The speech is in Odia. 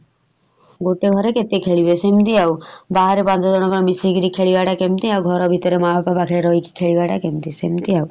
ଗୋଟେ ଘରେ କେତେ ଖେଳିବେ ସେମିତି ଆଉ ବାହାରେ ପାଞ୍ଚ ଜଣଙ୍କ ସାଥେ ଖେଳିବାଟା କେମିତି ଆଉ ଘର ଭିତରେ ମା ବାପା ସାଙ୍ଗରେ ହଉଚି ଖେଳିବାଟା କେମିତି ସିମିତି ଆଉ।